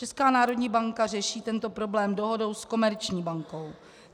Česká národní banka řeší tento problém dohodou s komerční bankou.